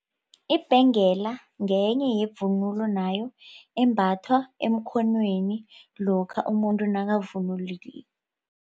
Ibhengela ngenye yevunulo nayo embathwa emkhonweni lokha umuntu